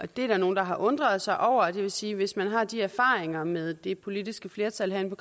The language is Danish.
der nogle der har undret sig over det vil sige at hvis man har de erfaringer med det politiske flertal herinde